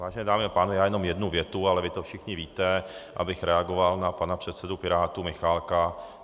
Vážené dámy a pánové, já jenom jednu větu, ale vy to všichni víte, abych reagoval na pana předsedu Pirátů Michálka.